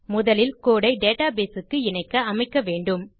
முதலில் கோடு ஐ டேட்டாபேஸ் க்கு இணைக்க அமைக்க வேண்டும்